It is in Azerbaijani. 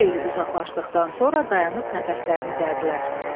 Xeyli uzaqlaşdıqdan sonra dayanıb nəfəslərini dərdilər.